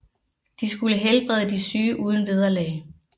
De skulle helbrede de syge uden vederlag